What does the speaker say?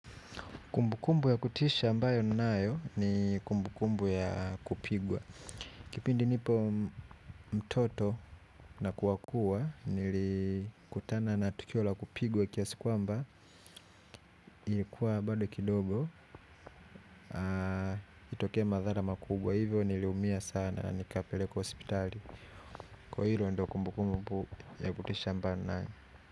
Kumbukumbu ya kutisha ambayo ninayo ni kumbukumbu ya kupigwa. Kipindi nipo mtoto na kuwakua nilikutana na tukio la kupigwa kiasi kwamba ilikuwa bado kidogo itokee madhara makubwa hivyo niliumia sana nikapelekwa hospitali. Kwa hilo ndo kumbukumbu ya kutisha ambayo ninayo.